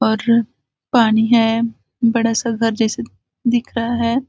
और पानी है बड़ा सा घर जैसे दिख रहा है।